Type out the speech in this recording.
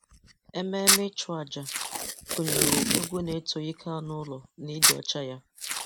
Ememe ịchụ-aja gụnyere egwu na-eto ike anụ ụlọ na ịdị ọcha ya